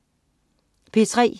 P3: